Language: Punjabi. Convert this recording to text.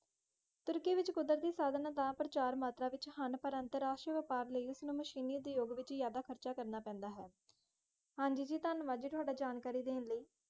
ਤੁਰਕੀ ਵਿੱਚ ਕੁਦਰਤੀ ਸਾਧਨ ਤਾਂ ਪ੍ਰਚੁਰ ਮਾਤਰਾ ਵਿੱਚ ਹਨ, ਪਰ ਅੰਤਰਰਾਸ਼ਟਰੀ ਵਪਾਰ ਲਈ ਉਸਨੂੰ ਮਸ਼ੀਨੀ ਉਦਯੋਗ ਵਿੱਚ ਜਿਆਦਾ ਖ਼ਰਚ ਕਰਨਾ ਪੈਂਦਾ ਹੈ, ਹਾਂਜੀ ਜੀ ਧੰਨਵਾਦ ਜੀ ਤੁਹਾਡਾ ਜਾਣਕਾਰੀ ਦੇਣ ਲਈ,